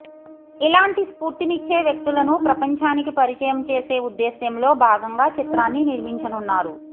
ఇలాంటి స్ఫూర్తినిచ్చే వ్యక్తులను ప్రపంచానికి పరిచయం చేసే ఉద్దేశ్యంలో భాగంగా చిత్రాన్ని నిర్మించనున్నారు